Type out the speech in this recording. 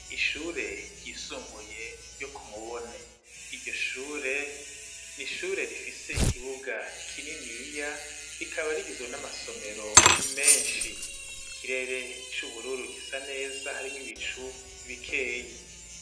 Ishure ryisumbuye ryo kumubone iryo shure ni ishure rifise ikibuga kininiya rikaba rigizwe n'amasomero menshi ikirere c'ubururu gisa neza harimwo ibicu bikeyi.